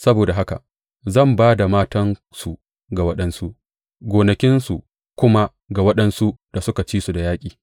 Saboda haka zan ba da matansu ga waɗansu gonakinsu kuma ga waɗansu da suka ci da yaƙi.